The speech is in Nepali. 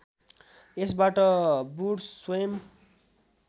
यसबाट बुड्स स्वयं